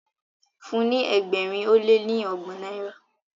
fún ní ẹgbẹrin o le ọgbọn náírà